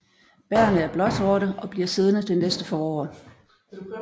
Bærrene er blåsorte og bliver siddende til næste forår